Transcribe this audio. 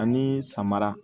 Ani samara